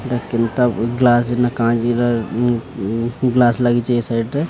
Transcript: ଏଟା କେନ୍ତା glass glass ଲାଗିଚି ସାଇଟ ରେ।